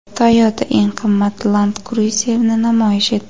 Toyota eng qimmat Land Cruiser’ni namoyish etdi.